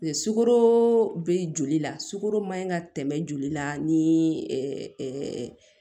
Sukaro be joli la sugoro maɲi ka tɛmɛ joli la ni